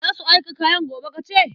Za su aika kayan gobe, ka ce?